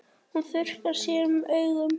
Hún þurrkar sér um augun.